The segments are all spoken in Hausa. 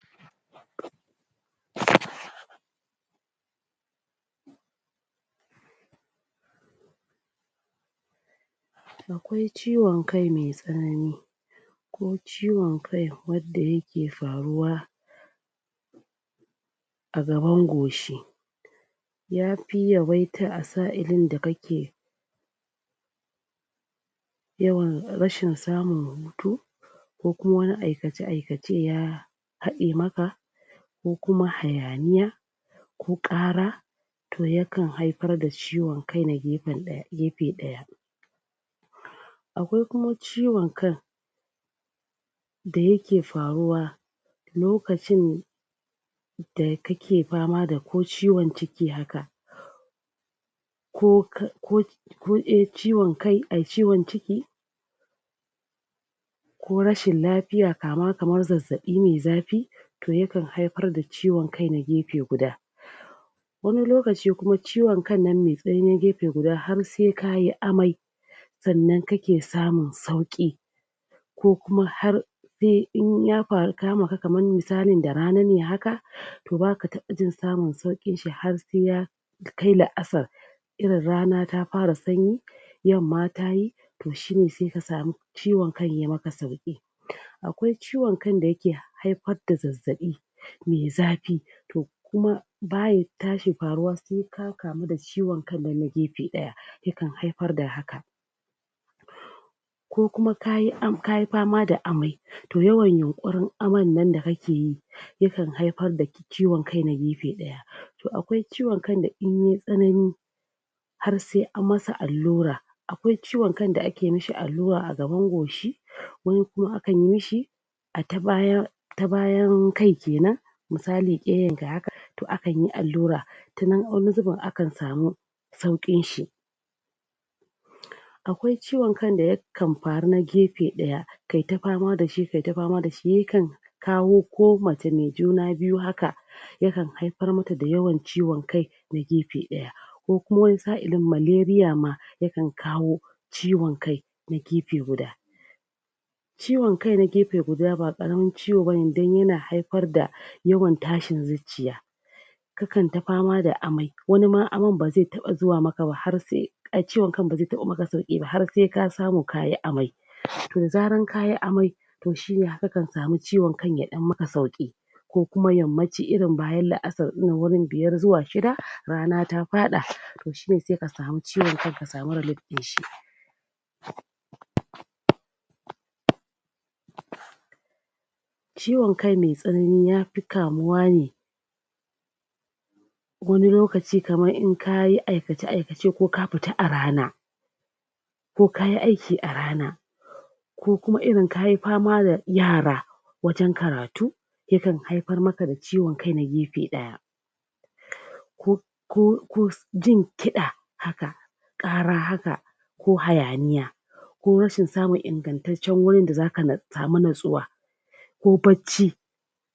um A kwai ciwon kai me tsanani ko wicon kai wadda yake faruwa a gaban goshi ya fi yawaita a sa'ilin da kake yawan rashin samun hutu ko kuma wani aikace-aikace ya haɗe maka ko kuma hayaniya ko ƙara to yakan haifar da ciwon kai na gefe ɗaya akwai kuma ciwon kan da yake faruwa lokacin da kake fama ko ciwon ciki haka ko ka ko ko e ciwon kai ai ciwon ciki ko rashin lafiya kama kamar zazzaɓi me zafi to yakan haifar da ciwon kai na gefe guda wani lokaci kuma ciwon kan nan me tsanani gefe guda har sai ka yi amai sannan kake samun sauƙi ko kuma har se in ya faru kamaka kamar misalin da rane ne haka to baka taɓa jin samun sauƙi har se ya kai la'asar irin rana ta fara sanyi yamma ta yi to shi ne sai ka samu ciwon kai ya maka sauƙi akwai ciwon kan da yake haifad da zazzaɓi me zafi to kuma baya tashi faruwa se ka kamu da ciwon kan nan na gefe ɗaya yakan haifar da haka ko kuma ka yi am ka yi fama da amai to yawan yunƙurin aman nan da kake yi yakan haifar da ciwon kai na gefe ɗaya to akwai ciwon kan da in yai tsanani har sai an masa allura akwai ciwon kan da ake mishi allura a gaban goshi wani kuma akan yi shi a ta baya ta bayan kai kenan misali keyanka to akan yi allura ta nan wani zubin akan samu sauƙinshi a kwai ciwon kan da yakan faruwa na gefe ɗaya kai ta fama da shi kai ta fama da shi yakan kawo ko mace me juna biyu haka yakan haifar mata da yawan ciwon kai na gefe ɗaya ko kuma wani sa'ilin maleria ma yakan kawo ciwon kai na gefe guda ciwon kai na gefe guda ba ƙaramin ciwo ba ne don yana haifar da yawan tashin zucciya kakan ta fama da amai wani ma aman ba zai taɓa zuwa maka ba har se ciwon kan ba ze taba maka sauƙi ba har se ka samu ka yi amai to zarar ka yi amai to shi ne ha kakan samu ciwon kan ya ɗan maka sauƙi ko kuma ya mace irin bayan la'asar wurin biyar zuwa shida rana ta faɗa to shi ne sai ka samu ciwon kan ka samu relif ɗin shi um ciwon kai me tsanani ya fi kamuwa ne wani lokaci kaman in ka yi aikace-aikace ko ka fita a rana ko ka yi aiki a rana ko kuma irin ka yi fama da yara wajen karatu yakan haifar maka da ciwon kai na gefe ɗaya ko ko ko jin kiɗa haka ƙara haka ko hayaniya ko rashin samun ingantaccen wurin da zaka samu nutsuwa ko bacci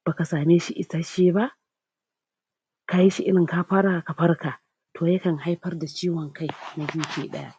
baka same shi isasshe ba ka shi irin ka fara ka farka to yakan haifar da ciwon kai na gefe ɗaya